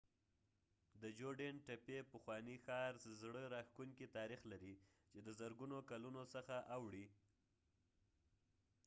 د جوډین تپې پخوانی ښار زړه راښکونکی تاریخ لري چې د زرګونو کلونو څخه اوړي